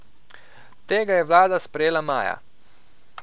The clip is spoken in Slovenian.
Tega je vlada sprejela maja.